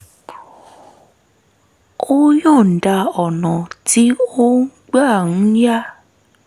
ó yọ̀ǹda ọ̀nà tí ó gbà ń ya